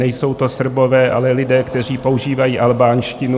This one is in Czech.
Nejsou to Srbové, ale lidé, kteří používají albánštinu.